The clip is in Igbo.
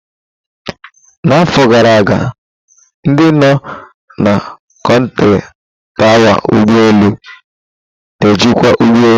Na afọ gara aga, ndị nọ na kontrọ tawa ugbo elu n'ejikwa ụgbọ elu.